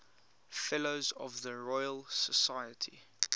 fellows of the royal society